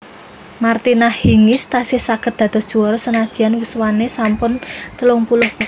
Martina Hingis tasih saget dados juara senadyan yuswane sampun telung puluh punjul